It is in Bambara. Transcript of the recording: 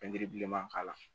bilenman k'a la